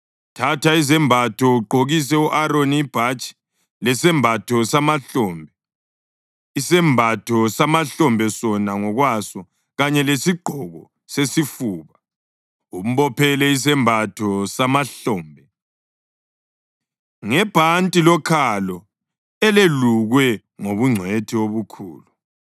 Thatha izembatho ugqokise u-Aroni ibhatshi, lesembatho samahlombe, isembatho samahlombe sona ngokwaso kanye lesigqoko sesifuba, umbophele isembatho samahlombe ngebhanti lokhalo elelukwe ngobungcwethi obukhulu.